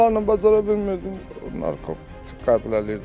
Mən onlarla bacara bilmirdim, narkotik qəbul eləyirdi o.